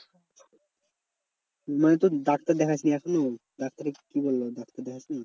মানে তোর ডাক্তার দেখাচ্ছিস এখনও ডাক্তারে কি বললো ডাক্তার দেখাচ্ছিস?